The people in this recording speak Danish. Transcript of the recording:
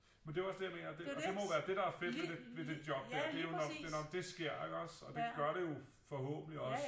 Men det er jo også det jeg mener det og det må jo være det der er fedt ved det job ikke det er nå det sker ikke også og det gør det jo forhåbentligt også